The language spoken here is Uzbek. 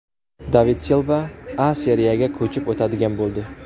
David Silva A Seriyaga ko‘chib o‘tadigan bo‘ldi.